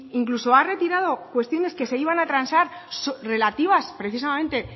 incluso ha retirado cuestiones que se iban a transar relativas precisamente